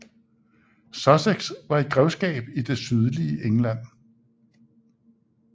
Sussex var et grevskab i det sydlige England